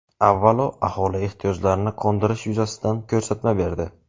avvalo aholi ehtiyojlarini qondirish yuzasidan ko‘rsatma berdi.